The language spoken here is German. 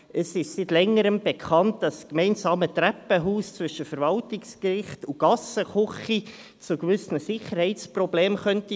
Es ist seit Längerem bekannt, dass das gemeinsame Treppenhaus zwischen dem Verwaltungsgericht und der Gassenküche zu gewissen Sicherheitsproblemen führen könnte.